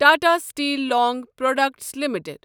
Tata steel long products limited